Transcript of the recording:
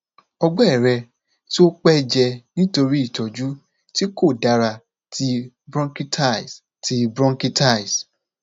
ọgbẹ rẹ ti o pẹ jẹ nitori itọju ti ko dara ti bronchitis ti bronchitis